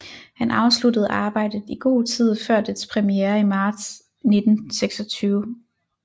Han afsluttede arbejdet i god tid før dets premiere i marts 1926